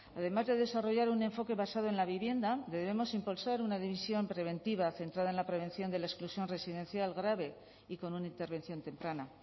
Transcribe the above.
además de desarrollar un enfoque basado en la vivienda debemos impulsar una división preventiva centrada en la prevención de la exclusión residencial grave y con una intervención temprana